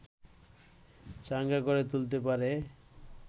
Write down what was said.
চাঙ্গা করে তুলতে পারে